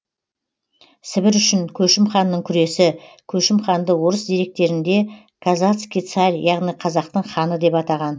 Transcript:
сібір үшін көшім ханның күресі көшім ханды орыс деректерінде казацкий царь яғни қазақтың ханы деп атаған